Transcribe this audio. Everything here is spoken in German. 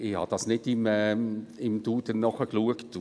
Ich habe es nicht im «Duden» nachgeschaut.